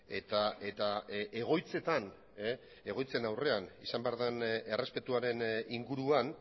eta egoitzetan egoitzen aurrean izan behar den errespetuaren inguruan